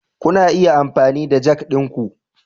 Kuna iya amfani da jack ɗinku.